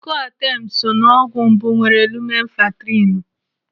Coartem so n'ọgwụ mbụ nwere lumenfantrinu.